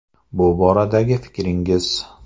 Bu boradagi fikringiz.